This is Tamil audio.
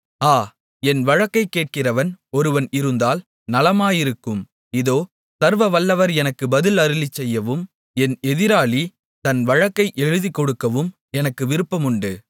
ஆ என் வழக்கைக் கேட்கிறவன் ஒருவன் இருந்தால் நலமாயிருக்கும் இதோ சர்வவல்லவர் எனக்கு பதில் அருளிச்செய்யவும் என் எதிராளி தன் வழக்கை எழுதிக்கொடுக்கவும் எனக்கு விருப்பமுண்டு